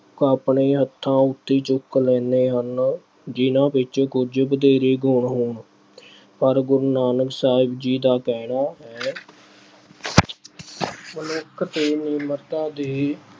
ਆਪਣੇ ਹੱਥਾਂ ਉੱਤੇ ਚੁੱਕ ਲੈਂਦੇ ਹਨ, ਜਿਹਨਾਂ ਵਿੱਚ ਕੁਝ ਵਧੇਰੇ ਗੁਣ ਹੋਣ। ਪਰ ਗੁਰੂ ਨਾਨਕ ਸਾਹਿਬ ਜੀ ਦਾ ਕਹਿਣਾ ਹੈ ਮਨੁੱਖ ਤੇ ਨਿਮਰਤਾ ਦੇ